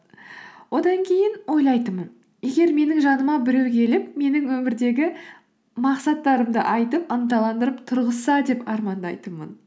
одан кейін ойлайтынмын егер менің жаныма біреу келіп менің өмірдегі мақсаттарымды айтып ынталандырып тұрғызса деп армандайтынмын